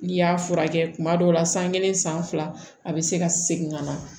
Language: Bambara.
N'i y'a furakɛ kuma dɔw la san kelen san fila a bɛ se ka segin ka na